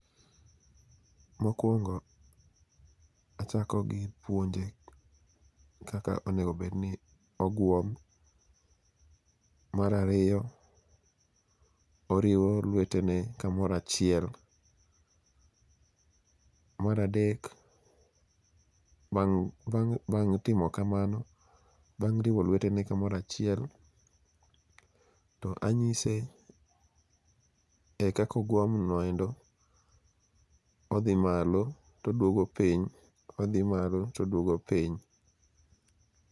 Mokwongo achako gi puonje kaka onego obedni oguom. Mar ariyo, oriwo lwetene kamoro achiel. Mar adek, bang' timo kamano, bang' riwo lwetene kamoro achiel, to anyise e kaka ogwom no endo, odhi malo todwogo piny, odhi malo todwogo piny.